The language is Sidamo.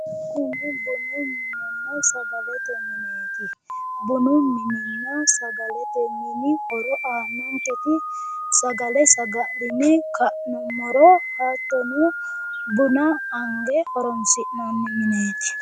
bunu minenna sagalete mineeti bunu mininna sagalete mini aannonke horo sagale saga'line ka'nummoro hattono buna ange horoonsi'nanni mineeti.